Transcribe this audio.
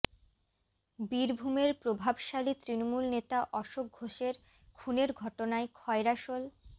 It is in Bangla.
বীরভূমের প্রভাবশালী তৃণমূল নেতা অশোক ঘোষের খুনের ঘটনায় খয়রাশোল